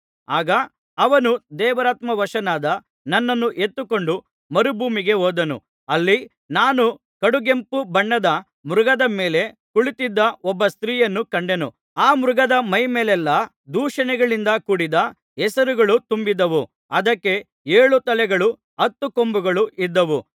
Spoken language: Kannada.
ಆಗ ಅವನು ದೇವರಾತ್ಮವಶನಾದ ನನ್ನನ್ನು ಎತ್ತಿಕೊಂಡು ಮರುಭೂಮಿಗೆ ಹೋದನು ಅಲ್ಲಿ ನಾನು ಕಡುಗೆಂಪು ಬಣ್ಣದ ಮೃಗದ ಮೇಲೆ ಕುಳಿತಿದ್ದ ಒಬ್ಬ ಸ್ತ್ರೀಯನ್ನು ಕಂಡೆನು ಆ ಮೃಗದ ಮೈಮೇಲೆಲ್ಲಾ ದೂಷಣೆಗಳಿಂದ ಕೂಡಿದ್ದ ಹೆಸರುಗಳು ತುಂಬಿದ್ದವು ಅದಕ್ಕೆ ಏಳು ತಲೆಗಳೂ ಹತ್ತು ಕೊಂಬುಗಳೂ ಇದ್ದವು